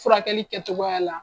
Furakɛli kɛtogoya la.